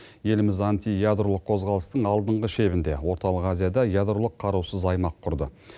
еліміз антиядролық қозғалыстың алдыңғы шебінде орталық азияда ядролық қарусыз аймақ құрды